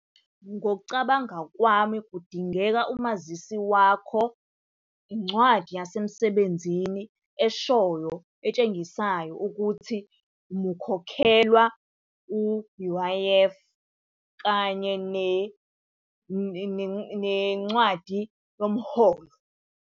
Ngokucabanga kwami kudingeka umazisi wakho, incwadi yasemsebenzini eshoyo etshengisayo ukuthi mukhokhelwa u-U_I_F kanye nencwadi yomholo.